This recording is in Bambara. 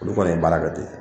Olu kɔni ye baara kɛ ten